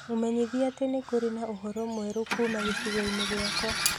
mũmenyithie atĩ nĩ kũrĩ na ũhoro mwerũ kuuma gĩcigo-inĩ gĩakwa